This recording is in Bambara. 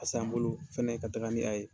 A san bolo fɛnɛ ka taga ni a ye.